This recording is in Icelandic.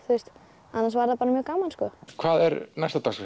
annars var það bara mjög gaman hvað er næst á dagskrá